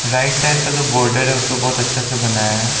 Right side का जो border है उसको बहुत अच्छे से बनाया है।